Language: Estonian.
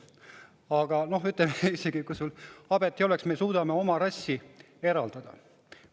Aga ütlen, et isegi kui sul habet ei oleks, me suudame oma rassi eraldada.